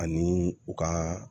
Ani u ka